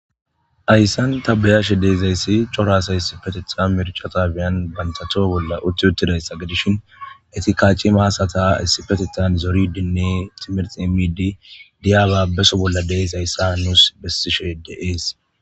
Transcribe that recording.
Yssan tabayashe deezayssi corasa yssifeteta mirchataabiyan bantato bolla utti uttidayssa gedishin etikaaci maasata issipetetan zori dinne timirxi emidi diyabaabeso bolla deesayssa nuus bessishe deees